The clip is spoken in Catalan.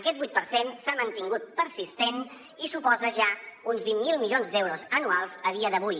aquest vuit per cent s’ha mantingut persistent i suposa ja uns vint miler milions d’euros anuals a dia d’avui